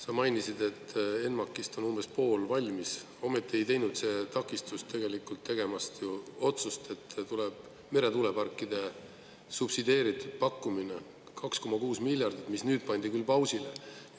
Sa mainisid, et ENMAK-ist on umbes pool valmis, ometi ei teinud see takistust tegelikult tegemast ju otsust, et tuleb meretuuleparkide subsideeritud pakkumine 2,6 miljardit, mis nüüd pandi küll pausile.